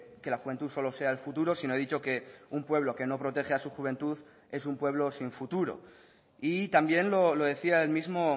que la juventud solo sea el futuro sino he dicho que un pueblo que no protege a su juventud es un pueblo sin futuro y también lo decía el mismo